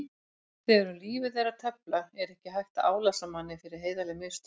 Þegar um lífið er að tefla er ekki hægt að álasa manni fyrir heiðarleg mistök.